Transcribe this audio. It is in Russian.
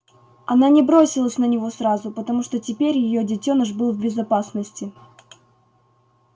она не бросилась на него сразу потому что теперь её детёныш был в безопасности